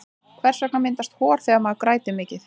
hvers vegna myndast hor þegar maður grætur mikið